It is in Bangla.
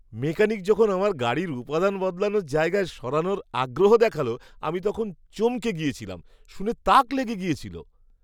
মেকানিক যখন আমার গাড়ির উপাদান বদলানোর জায়গায় সারানোতে আগ্রহ দেখাল, আমি তখন চমকে গেছিলাম। শুনে তাক লেগে গেছিল।